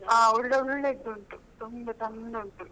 ಆ ಒಳ್ಳೆ ಒಳ್ಳೇದು ಉಂಟು ತುಂಬಾ ಚಂದ ಉಂಟು.